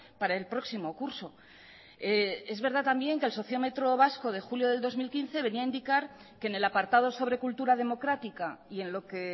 para el próximo curso es verdad también que el sociómetro vasco de julio del dos mil quince venía a indicar que en el apartado sobre cultura democrática y en lo que